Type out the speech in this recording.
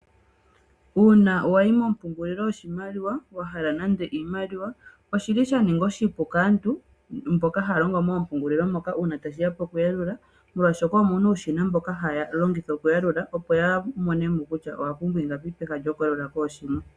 Uuna wayi mompungulilo yoshimaliwa, wahala nande iimaliwa, oshili sha ninga oshipu kaantu mboka haya longo moompungulilo moka, uuna tashiya poku yalula, molwaashoka omuna uushina mboka haya longitha okuyalula, opo yamone mo kutya owa pumbwa ingapi, peha lyoku yalula kooshimwe.